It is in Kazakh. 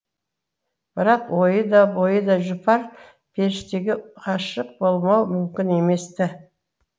бірақ ойы да бойы да жұпар періштеге ғашық болмау мүмкін емес ті